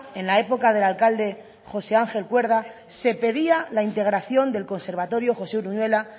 en la época del alcalde josé ángel cuerda se pedía la integración del conservatorio josé uruñuela